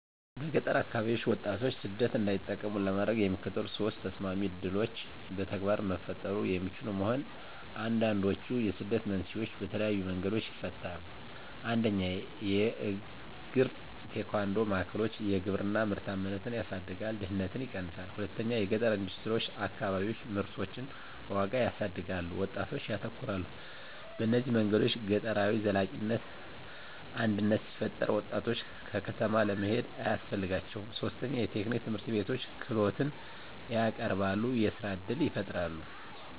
በገጠር አከባቢዎች ወጣቶች ሰደት እንዳይጠቀሙ ለማድረግ፣ የሚከተሉት ሶስት ተሰማሚ ዕድሎች በተግባር መፈጠሩ የሚችሉ መሆን፣ አንዱንድችዉ የስደትን መንስኤዎች በተለየዪ መንገዶች ይፈታል። 1 የእግራ-ቴኳንዶ ማዕከሎች _የግብርና ምርታማነትን ያሳድጋል፣ ድህነትን ይቀነሳል። 2 የገጠረ ኢንደስትሪዎች_ አከባቢዎች ምርቶችን ዋጋ ያሳድጋሉ፣ ወጣቶች ያተኮራሉ። በእነዚህ መንገዶች ገጠራዊ ዘላቂነት አድነት ሲፈጠራ፣ ወጣቶች ከተማ ለመሄድ አያስፈልጋቸውም ; 3 የቴክኒክ ትምህርትቤቶች _ክህሎትን ያቀረበሉ፣ የሥራ እድል ይፈጣራል።